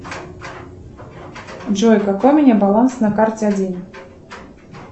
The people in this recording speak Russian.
джой какой у меня баланс на карте один